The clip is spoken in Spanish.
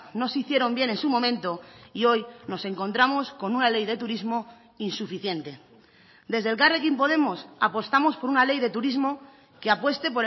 no se hicieron bien en su momento y hoy nos encontramos con una ley de turismo insuficiente desde elkarrekin podemos apostamos por una ley de turismo que apueste